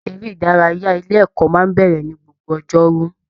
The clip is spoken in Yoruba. Eré ìdárayá ilé ẹ̀kọ́ máa n bẹrẹ ní gbogbo ọjọ́rú